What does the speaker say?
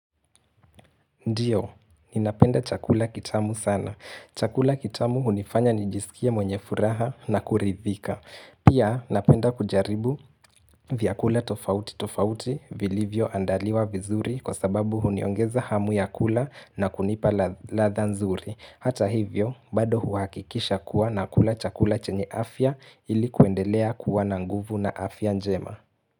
Ndiyo, ninapenda chakula kitamu sana. Chakula kitamu hunifanya nijisikie mwenye furaha na kuridhika. Pia, napenda kujaribu vyakula tofauti tofauti vilivyo andaliwa vizuri kwa sababu huniongeza hamu ya kula na kunipa ladha nzuri. Hata hivyo, bado huakikisha kuwa na kula chakula chenye afya ilikuendelea kuwa na nguvu na afya njema.